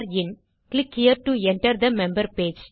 click here to enter the member page